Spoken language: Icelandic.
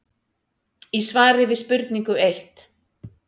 í svari við spurningu eitt.